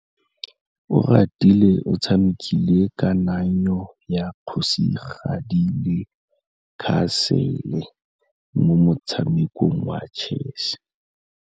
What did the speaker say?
Oratile o tshamekile kananyô ya kgosigadi le khasêlê mo motshamekong wa chess.